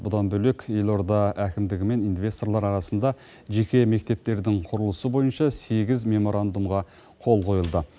бұдан бөлек елорда әкімдігі мен инвесторлар арасында жеке мектептердің құрылысы бойынша сегіз меморандумға қол қойылды